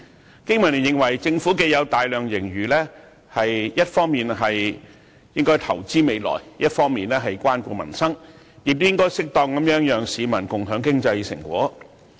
香港經濟民生聯盟認為政府既有大量盈餘，一方面應該投資未來，一方面應該關顧民生，亦應該適當讓市民共享經濟成果。